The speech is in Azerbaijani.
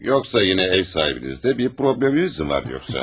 Yoxsa yenə ev sahibinizlə bir probleminiz mi var yoxsa, hə?